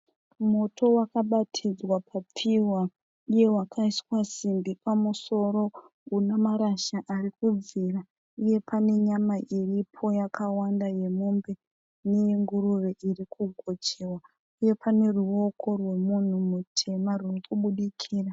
Moto wakabatidzwa papfihwa uye wakaiswa simbi pamusoro. Una marasha ari kubvira uye pane nyama iripo yakawanda yemombe neyenguruve iri kugochewa uye pane ruwoko rwomunhu mutema ruri kubudikira.